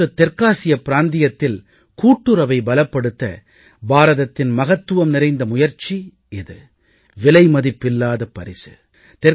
ஒட்டுமொத்த தெற்காசிய பிராந்தியத்தில் கூட்டுறவை பலப்படுத்த பாரதத்தின் மகத்துவம் நிறைந்த முயற்சி இது விலைமதிப்பில்லாத பரிசு